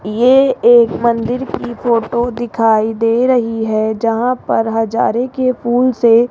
ये एक मंदिर की फोटो दिखाई दे रही है जहां पर हजारे के पुल से --